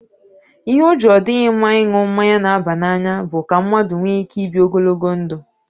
Ihe o ji ọ dịghị mma ịṅụ mmanya na-aba n'anya bụ ka mmadụ nwee ike ibi ogologo ndụ.